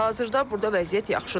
Hazırda burda vəziyyət yaxşıdır.